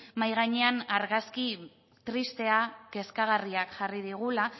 mahai gainean argazki tristea kezkagarria jarri digula